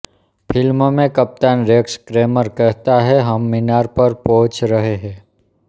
film में कप्तान Rex Kramer कहता है हम मीनार पर पहुंच रहे हैं